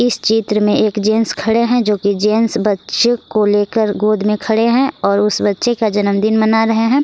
इस चित्र में एक जेंट्स खड़े हैं जो की जेंट्स बच्चे को लेकर गोद में खड़े हैं और उस बच्चे का जन्मदिन मना रहे हैं।